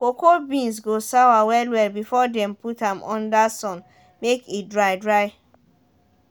cocoa beans go sour well well before dem put am under sun make e dry dry